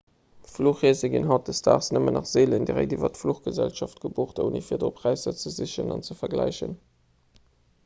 fluchreese ginn hautdesdaags nëmmen nach seelen direkt iwwer d'fluchgesellschaft gebucht ouni virdru präisser ze sichen an ze vergläichen